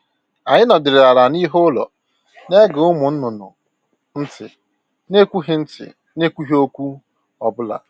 Anyị nọdịrị ala n'ihu ụlọ, na ege ụmụ nnụnụ ntị na ekwughị ntị na ekwughị okwu ọ bụla